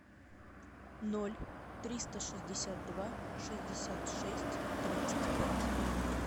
ноль триста шестьдесят два шестьдесят шесть тридцать пять